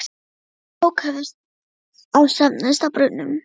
Þeir sem tök höfðu á söfnuðust að brunnunum.